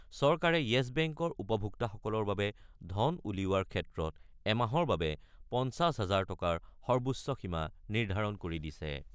চৰকাৰে য়েছ বেংকৰ উপভোক্তাসকলৰ বাবে ধন উলিওৱাৰ ক্ষেত্ৰত এমাহৰ বাবে ৫০ হাজাৰ টকাৰ সৰ্বোচ্চ সীমা নিৰ্ধাৰণ কৰি দিছে।